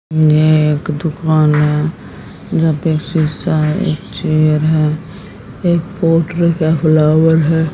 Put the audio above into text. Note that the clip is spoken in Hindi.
ये एक दुकान है जहां पे एक शीशा है एक चेयर है एक पॉट रखा फ्लॉवर है।